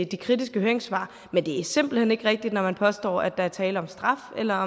de kritiske høringssvar men det er simpelt hen ikke rigtigt når man påstår at der er tale om straf eller